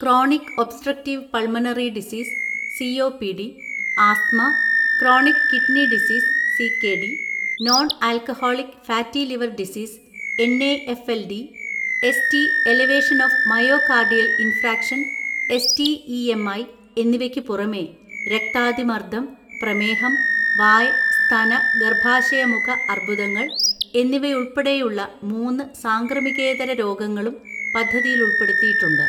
Chronic obstructive pulmonary disease (COPD) , asthma, chronic kidney disease (CKD) , non alcoholic fatty liver disease (N A F L D ), ST elevation of myocardial infarction (S T E M I ) എന്നിവയ്ക്ക് പുറമേ, രക്താതിമർദ്ദം, പ്രമേഹം, വായ്, സ്തന, ഗർഭാശയമുഖ അർബുദങ്ങൾ എന്നിവയുൾപ്പെടെയുള്ള മൂന്ന് സാംക്രമികേതര രോഗങ്ങളും പദ്ധതിയിലുൾപ്പെടുത്തിയിട്ടുണ്ട്.